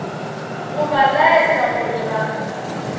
go ba laetša gore ga